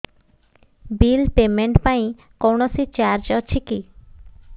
bill payment ପାଇଁ କୌଣସି charge ଅଛି କି